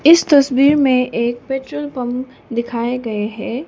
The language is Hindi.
इस तस्वीर में एक पेट्रोल पंप दिखाए गए हैं।